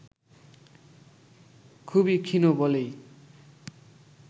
খুবই ক্ষীণ বলেই